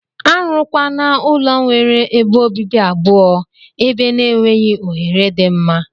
Arụ kwana ulọ nwere ebe obibi abụọ eber na enweghi ohere di mma.